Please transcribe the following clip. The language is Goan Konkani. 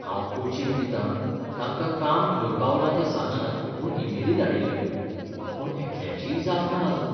हांव कोचिंग दिता तांकां काम खंय पावलां तें सांगात म्हूण इमेली धाडिल्ल्यो, पूण एकल्याचीय जाप ना आजून.